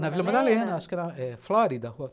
Na Vila Madalena, acho que era Flórida.